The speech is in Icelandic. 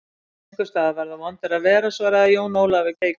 Einhvers staðar verða vondir að vera, svaraði Jón Ólafur keikur.